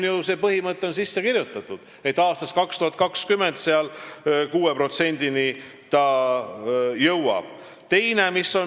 See põhimõte on sisse kirjutatud, et aastaks 2020 jõuab see 6%-ni.